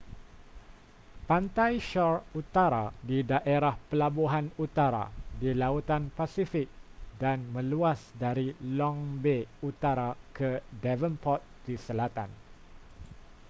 pantai shore utara di daerah pelabuhan utara di lautan pasifik dan meluas dari long bay utara ke devonport di selatan